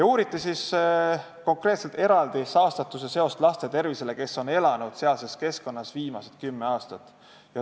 Uuriti konkreetselt saastatuse seost nende laste tervisega, kes on elanud sealses keskkonnas viimased kümme aastat.